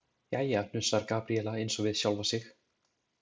Jæja, hnussar Gabríela eins og við sjálfa sig.